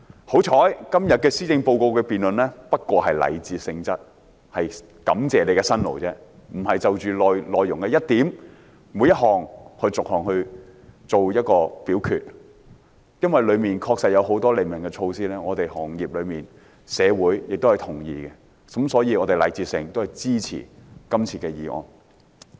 幸好今天的施政報告辯論只是禮節性質，只是感謝特首的辛勞，並非就內容的每一點、每一項逐一作出表決；而由於其中確實有很多利民措施是業內人士及社會同意的，所以我們禮節上會支持今次的致謝議案。